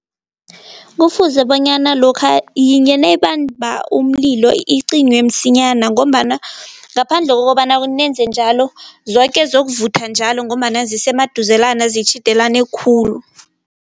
Kufuze bonyana lokha yinye nayibamba umlilo icinywe msinyana ngombana ngaphandle kokobana nenze njalo zoke zizokuvutha njalo ngombana zisemaduzelana, zitjhidelene khulu.